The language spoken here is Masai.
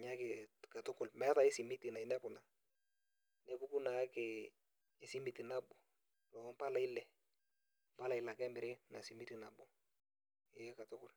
naake katuku meetae enkae simiti nainepu. nepuku naakesi esimiti nabo too mpalai ile ,mpala ile ake emiri ina simiti nabo.ee pae.